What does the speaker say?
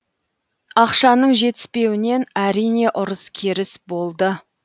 ақшаның жетіспеуінен әрине ұрыс керіс болды